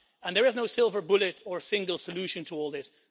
There is no silver bullet or single solution to all this.